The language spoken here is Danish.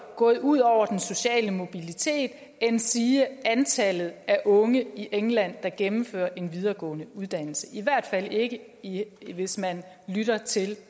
gået ud over den sociale mobilitet endsige antallet af unge i england der gennemfører en videregående uddannelse i hvert fald ikke ikke hvis man lytter til